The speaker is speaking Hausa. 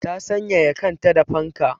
Ta sanyaya kanta da fanka.